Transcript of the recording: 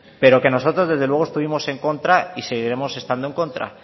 pero que nosotros desde luego estuvimos en contra y seguiremos estando en contra